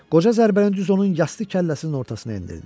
Qoca zərbənin düz onun yastı kəlləsinin ortasına endirdi.